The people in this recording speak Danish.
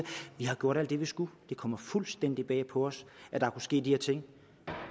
vi har gjort alt det vi skulle det kommer fuldstændig bag på os at der kunne ske de her ting